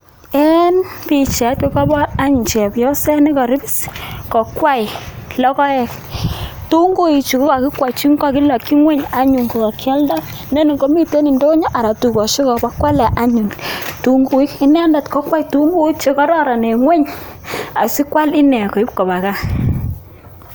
En pichait kokabor an chepyoset nekaribs kokwei logoek. tunguikchu kakikwei kakilakchi ng'wuny anyun ko kakialdai. inen komite ndonyo anan dukosiek abokwale anyun tunguik. inendet kokwee tunguik chekororon en ng'wuny asikwal ine koba gaa